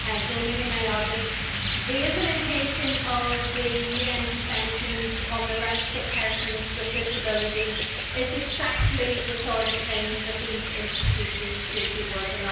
Mr President, the implementation of the UN Convention on the Rights of Persons with Disabilities is exactly the sort of thing that the EU institutions should be working on.